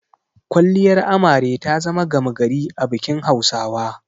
Kwalliyar Amare ta zama gama gari a bikin Hausawa.